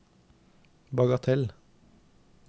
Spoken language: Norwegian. bagatell